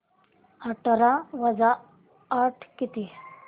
अठरा वजा आठ किती